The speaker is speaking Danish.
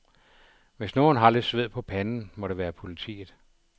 Hvis nogen har lidt sved på panden, må det være politiet.